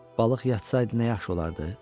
Balıq yatsaydı nə yaxşı olardı.